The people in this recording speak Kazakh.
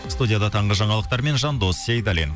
студияда таңғы жаңалықтармен жандос сейдаллин